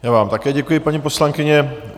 Já vám také děkuji, paní poslankyně.